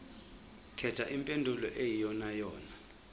khetha impendulo eyiyonayona